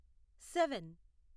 seven